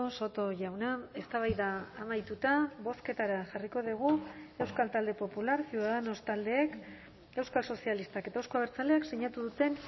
soto jauna eztabaida amaituta bozketara jarriko dugu euskal talde popular ciudadanos taldeek euskal sozialistak eta euzko abertzaleak sinatu duten